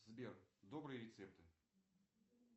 сбер добрые рецепты